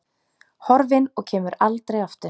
Horfin og kemur aldrei aftur.